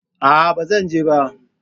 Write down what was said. Aa, ba zan je ba